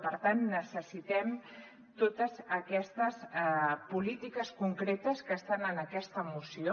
per tant necessitem totes aquestes polítiques concretes que estan en aquesta moció